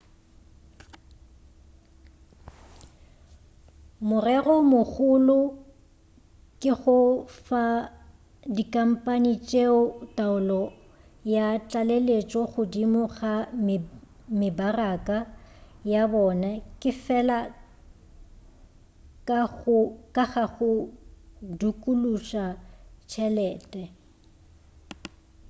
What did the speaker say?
morero o mogolo ke go fa dikhampani tšeo taolo ya tlaleletšo godimo ga mebaraka ya bona ke fela ka ga go dukuluša tšhelete